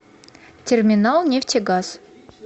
терминалнефтегаз